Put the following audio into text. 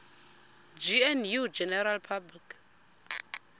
gnu general public